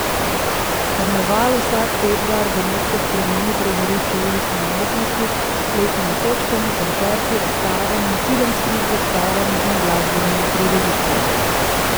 Karneval vsak februar Benetke spremeni v prizorišče ulične umetnosti s plesnimi točkami, koncerti, razstavami, filmskimi predstavami in glasbenimi prireditvami.